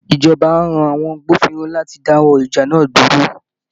Ìjọba á rán àwọn agbófinró láti dáwọ́ ìjà náà dúró